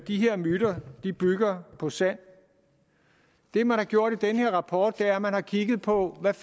de her myter bygger på sand det man har gjort i den her rapport er at man har kigget på hvad